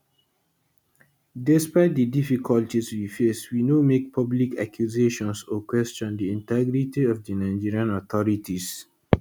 despite di difficulties we face we no make public accusations or question di integrity of di nigerian authorities